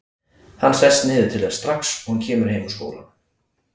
Hann sest niður til þess strax og hann kemur heim úr skólanum.